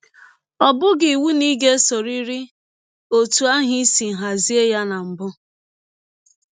Ọ bụghị iwụ na ị ga - esọrịrị ọtụ ahụ i si hazie ya na mbụ.